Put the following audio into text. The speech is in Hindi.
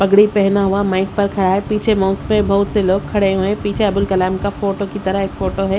पगड़ी पहना हुआ माइक पर खड़ा है पीछे पे बहुत से लोग खड़े हुए हैं पीछे अब्दुल कलाम का फोटो की तरह एक फोटो है।